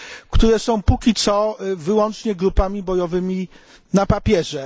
które są póki co wyłącznie grupami bojowymi na papierze.